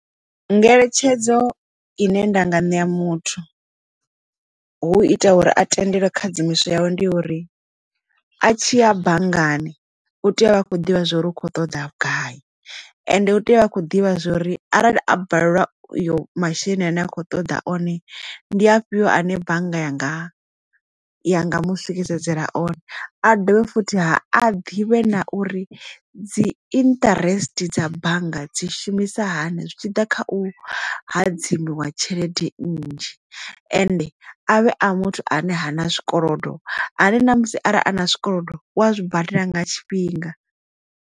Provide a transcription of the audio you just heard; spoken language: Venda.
Ngeletshedzo i ne ndanga ṋea muthu hu ita uri a tendelwe khadzimiso yawo ndi uri a tshiya banngani u tea u vha a khou ḓivha zwa uri u kho ṱoḓa vhugai ende hu tea uvha a kho ḓivha zwori arali a balelwa u yo masheleni ane a kho ṱoḓa one ndi afhio ane bannga yanga ya nga mu swikisedzela one a dovhe futhi ha a ḓivhe na uri dzi interest dza bannga dzi shumisa hani zwi tshiḓa kha u hadzimiwa tshelede nnzhi ende avhe a muthu ane ha na zwikolodo ane na musi arali a na zwikolodo uwa zwibadela nga tshifhinga.